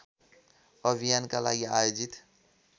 अभियानका लागि आयोजित